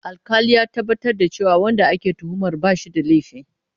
Alƙalin ya tabbatar da cewa wanda ake tuhumar ba shi da laifi.